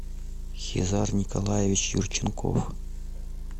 хизар николаевич юрченков